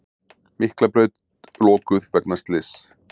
Miklabraut lokuð vegna slyss